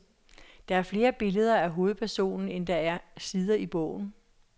Der er flere billeder af hovedpersonen, end der er sider i bogen.